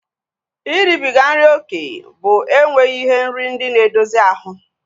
Iribiga nri oké bụ enweghị ihe nri ndị na-edozi ahu